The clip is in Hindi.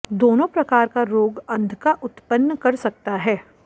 दोनों प्रकार का रोग अंधका उत्पन्न कर सकता है